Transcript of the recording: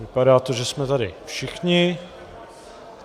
Vypadá to, že jsme tady všichni.